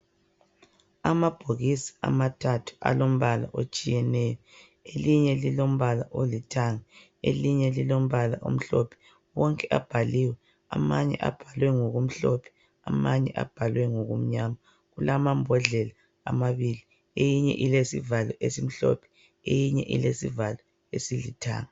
Amabhokisi amathathu alombala otshiyeneyo, elinye lilombala olithanga elinye lilombala omhlophe. Wonke abhaliwe, amanye abhalwe ngokumhlophe amanye abhalwe ngokumnyama. Kulamambodlela amabili eyinye ilesivalo esimhlophe eyinye ilesivalo esilithanga.